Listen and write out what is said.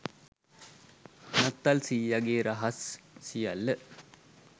නත්තල් සීයගෙ රහස් සියල්ල